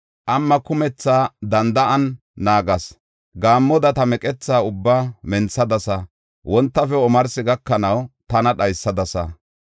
“Qamma kumetha danda7an naagas; gaammoda ta meqetha ubbaa menthadasa; wontafe omarsi gakanaw tana dhaysadasa.